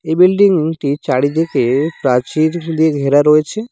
এই বিল্ডিং -টির চারিদিকে প্রাচীর দিয়ে ঘেরা রয়েছে।